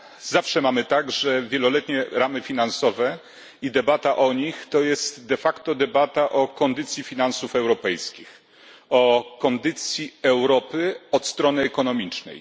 Zawsze mamy tak, że wieloletnie ramy finansowe i debata o nich to debata o kondycji finansów europejskich, o kondycji Europy od strony ekonomicznej.